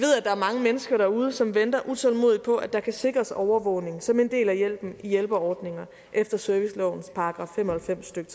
er mange mennesker derude som venter utålmodigt på at der kan sikres overvågning som en del af hjælpen i hjælpeordninger efter servicelovens § fem og halvfems stykke